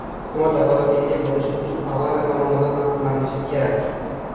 Hukumat vakolatga ega bo‘lishi uchun parlament tomonidan ma’qullanishi kerak.